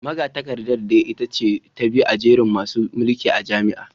Magatakardar dai ita ce ta biyu a jerin masu mulki a jami’ar